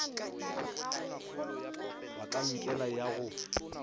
be ka enkele ya go